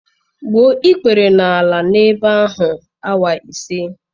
gbuo ikpere n'ala n'ebe ahụ awa ise.